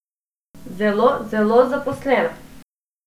Zelo, zelo zaposlena.